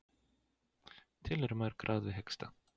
Til eru mörg ráð við hiksta.